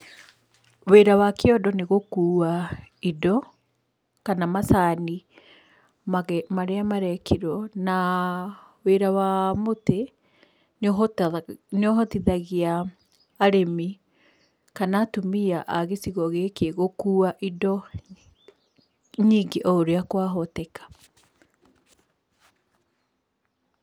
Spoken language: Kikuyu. Wĩra wa kĩondo nĩ gũkuua indo kana macani marĩa marekĩrwo na wĩra wa mũtĩ nĩ ũhotaga, nĩ ũhotithagia arĩmi kana atumia a gĩcigo gĩkĩ gũkũa indo nyingĩ o ũrĩa kwahoteka.